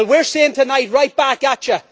Well, we are saying tonight right back at you.'